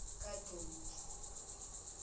kadonke